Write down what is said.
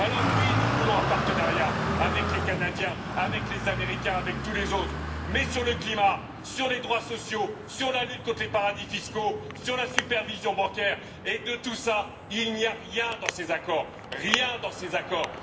Alors, oui, nous voulons un partenariat avec les Canadiens, avec les Américains, avec tous les autres, mais sur le climat, sur les droits sociaux, sur la lutte contre les paradis fiscaux, sur la supervision bancaire, et de tout cela, il n'y a rien dans ces accords!